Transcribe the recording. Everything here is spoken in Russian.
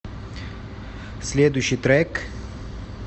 следующий трек